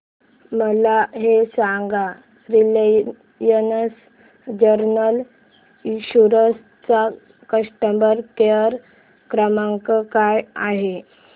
मला हे सांग रिलायन्स जनरल इन्शुरंस चा कस्टमर केअर क्रमांक काय आहे